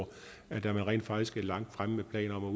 rent faktisk er langt fremme med planer om